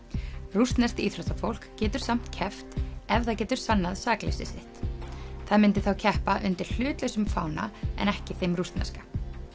rússneskt íþróttafólk getur samt keppt ef það getur sannað sakleysi sitt það myndi þá keppa undir hlutlausum fána ekki þeim rússneska